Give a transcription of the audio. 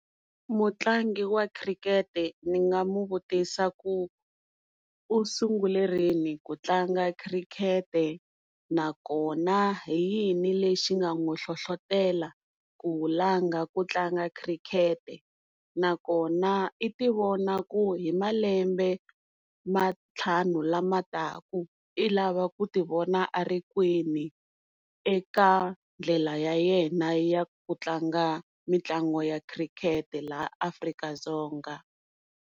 Mutlangi wa khirikete ni nga mu vutisa ku u sungule rini ku tlanga khirikete nakona hi yini lexi nga n'wi hlohlotela ku langa ku tlanga khirikete nakona i ti vona ku hi malembe mantlhanu lama taka i lava ku ti vona a ri kwini eka ndlela ya yena ya ku tlanga mitlangu ya khirikete laha Afrika-Dzonga.